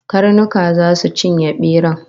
Karnuka zasu cinye beran